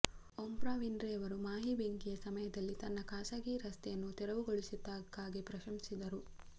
Oprah Winfrey Maui ಮಾಯಿ ಬೆಂಕಿಯ ಸಮಯದಲ್ಲಿ ತನ್ನ ಖಾಸಗಿ ರಸ್ತೆಯನ್ನು ತೆರವುಗೊಳಿಸಿದ್ದಕ್ಕಾಗಿ ಪ್ರಶಂಸಿಸಿದರು